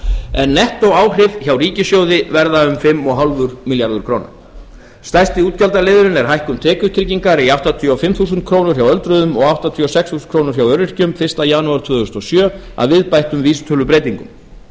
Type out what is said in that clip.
en nettóáhrif hjá ríkissjóði verða um fimm komma fimm milljarðar króna stærsti útgjaldaliðurinn er hækkun tekjutryggingar í áttatíu og fimm þúsund krónur hjá öldruðum og áttatíu og sex þúsund krónur hjá öryrkjum fyrsta janúar tvö þúsund og sjö að viðbættum vísitölubreytingum